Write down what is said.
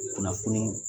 Kunnafoni